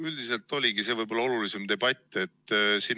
Üldiselt see oligi võib-olla kõige olulisem debatt.